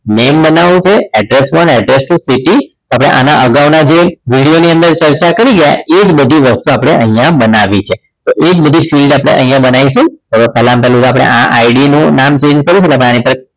Name બનાવું છે address one address two pt આપણે આના અગાઉના જે video ની અંદર જે ચર્ચા કરી ગયા એ જ બઘી વસ્તુ આપણે અહીંયા બનાવી છે તો એ જ બધી field આપણે અહીંયા બનાવીશું તો હવે પહેલામાં પહેલું તો આ ID નું નામ change કરવું હોય તો આની ઉપર